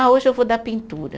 Ah, hoje eu vou dar pintura.